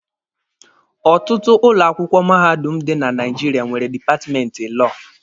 Ọtụtụ ụlọ akwụkwọ mahadum dị na Naijiria nwere dipatmenti lọọ